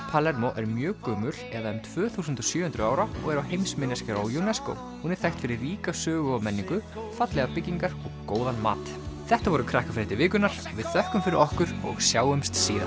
Palermo er mjög gömul eða um tvö þúsund og sjö hundruð ára og er á heimsminjaskrá UNESCO hún er þekkt fyrir ríka sögu og menningu fallegar byggingar og góðan mat þetta voru Krakkafréttir vikunnar við þökkum fyrir okkur og sjáumst síðar